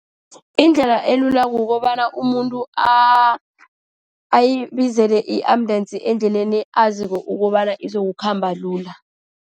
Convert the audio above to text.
Indlela elula kukobana umuntu ayibizile i-ambulensi endleleni aziko ukobana izokukhamba lula.